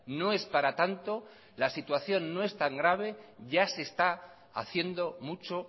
no es para tanto la situación no es tan grave ya se está haciendo mucho